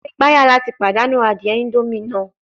Maṣe gbaya lati padanu adie indomie naa